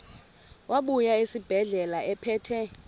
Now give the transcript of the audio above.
wabuya esibedlela ephethe